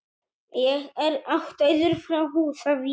Ég er ættaður frá Húsavík.